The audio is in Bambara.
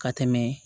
Ka tɛmɛ